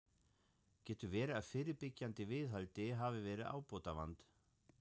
Getur verið að fyrirbyggjandi viðhaldi hafi verið ábótavant?